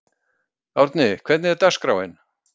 Árni, hvernig er dagskráin?